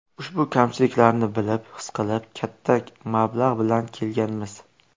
Ushbu kamchiliklarni bilib, his qilib, katta mablag‘ bilan kelganmiz.